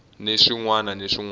ni swin wana ni swin